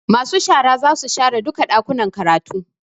Masu shara zasu share duka Ɗakuna karatu